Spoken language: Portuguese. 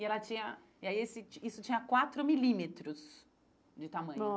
E ela tinha... E aí esse Isso tinha quatro milímetros de tamanho.